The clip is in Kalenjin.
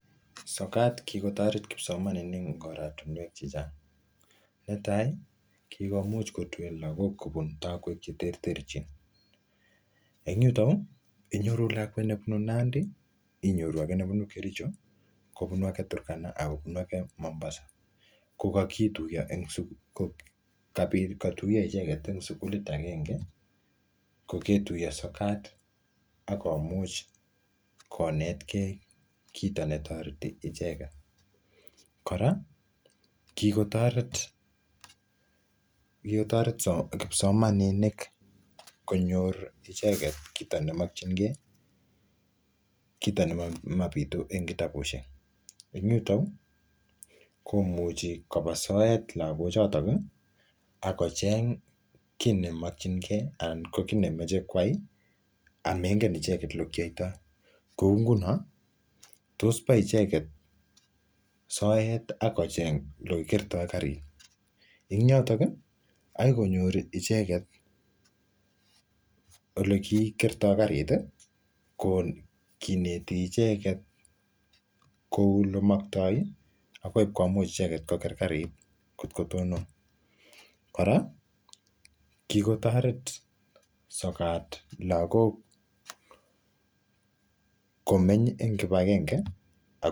sokat kikotoret kipsomaninik en oratinwek chechang netai kikomuch kotuen lagok kobun takwe cheterterchin en yuton inyoru lakwet nebunu nandi inyoru age nebunu kericho kobunu age turkana akobunu age mombasa kokituyo kokotuyo icheket en sugulit agenge koketuyo sokat akomuch konet kee kito netoreti icheket kora kikotoret kipsomaninik konyor icheket kito nemokyin kee kito nemobitu en kitabushek en yuton uu komuchi koba soet lagochoton akocheng kii nemokyin kee anan ki nemoche kwai amengen icheket olekiyoitoi koungunon toss baa icheket soet akocheng olekikerto karit en yoton akoikonyor icheket elekikerto kariti ko kineti icheket kou elemokto akoi komuch icheket koker karit kotkotonon kora kikotoret sokat lagok komeny en kipgenge